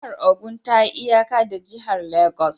Jihar Ogun ta yi iyaka da jihar Legas